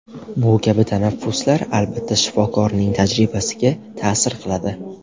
Bu kabi tanaffuslar, albatta, shifokorning tajribasiga ta’sir qiladi.